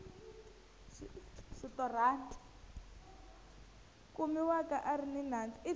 kumiwaka a ri ni nandzu